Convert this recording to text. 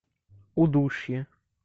удушье